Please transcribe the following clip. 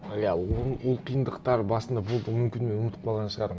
иә ол қиындықтар басында болды мүмкін мен ұмытып қалған шығармын